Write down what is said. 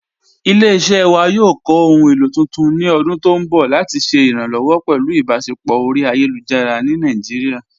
Ilẹ̀-iṣẹ́ wa yóò kọ́ ohun èlo tuntun ni ọ̀dún tó nbọ̀ lati ṣẹ̀ iránlọ́wọ̀ pẹ̀lú ìbáṣẹpọ̀ ọ̀ri ayélujára ni Naijíríà.